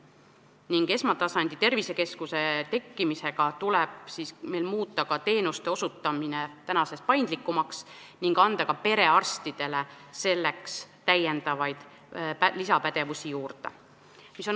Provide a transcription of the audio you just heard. Koos esmatasandi tervisekeskuste tekkimisega tuleb meil muuta teenuste osutamine tänasest paindlikumaks ning anda ka perearstidele pädevust juurde.